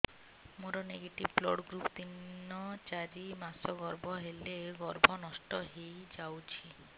ମୋର negative blood group ତିନ ଚାରି ମାସ ଗର୍ଭ ହେଲେ ଗର୍ଭ ନଷ୍ଟ ହେଇଯାଉଛି